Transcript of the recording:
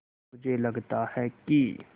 मुझे लगता है कि